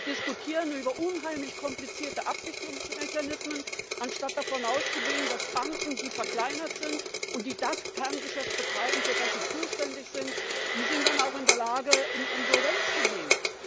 Wir diskutieren über unheimlich komplizierte Abwicklungsmechanismen, anstatt davon auszugehen, dass Banken, die verkleinert werden und die das Kerngeschäft betreiben, für das sie zuständig sind, dann auch in der Lage sind, in Insolvenz zu gehen.